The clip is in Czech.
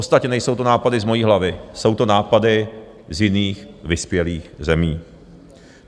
Ostatně nejsou to nápady z mojí hlavy, jsou to nápady z jiných vyspělých zemí.